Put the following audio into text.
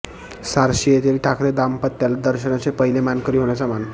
सारशी येथील ठाकरे दाम्पत्याला दर्शनाचे पहिले मानकरी होण्याचा मान